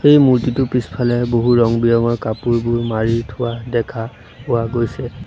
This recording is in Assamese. এই মূৰ্তিটোৰ পিছফালে বহু ৰং বিৰঙৰ কাপোৰবোৰ মাৰি থোৱা দেখা পোৱা গৈছে।